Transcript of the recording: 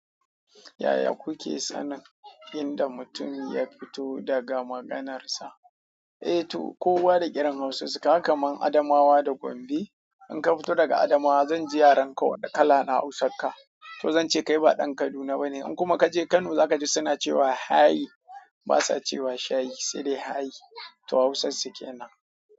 Yaya kuke sanin inda mutum ya fito daga maganarsa? Eh to, kowa da ƙiran Hausa su, kaga kamar Adamawa da Gombe. In ka fito daga Adamawa, zan ji yarenka wani kala na Hausa ka. To zan ce kai ba ɗan Kaduna baneba. In kuma ka je Kano, za ka ji suna cewa "hai", basa cewa "shayi", sai dai "hai". To Hausar suke nan.